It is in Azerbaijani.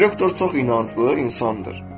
Direktor çox inanclı insandır.